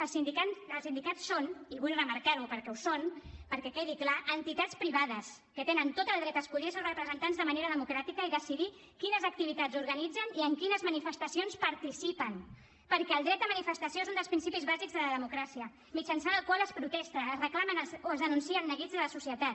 els sindicats són i vull remarcar ho perquè ho són perquè quedi clar entitats privades que tenen tot el dret a escollir els seus representants de manera democràtica i decidir quines activitats organitzen i en quines manifestacions participen perquè el dret a manifestació és un dels principis bàsics de la democràcia mitjançant el qual es protesta es reclamen o es denuncien neguits de la societat